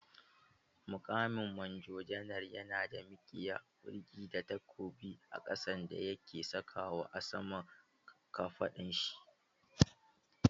Muƙamin Manjo janar yana da mikiya, kulki da takobi a ƙasa da yake sakawa a saman kafaɗun shi.